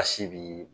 A si bi